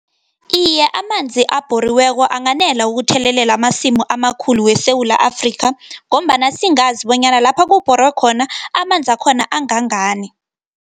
Iye, amanzi abhoriweko anganela ukuthelelela amasimu amakhulu weSewula Afrika, ngombana singazi bonyana lapha kubhorwe khona, amanza akhona angangani.